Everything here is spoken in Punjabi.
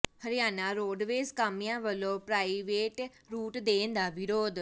ਹਰਿਆਣਾ ਰੋਡਵੇਜ਼ ਕਾਮਿਆਂ ਵੱਲੋਂ ਪ੍ਰਾਈਵੇਟ ਰੂਟ ਦੇਣ ਦਾ ਵਿਰੋਧ